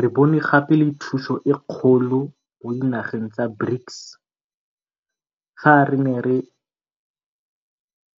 Re bone gape le thuso e kgolo mo dinageng tsa BRICS fa re ne re